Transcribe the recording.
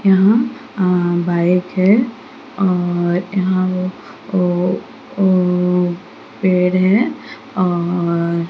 यहां अ बाइक है और यहां व ओ-ओ पेड़ है और --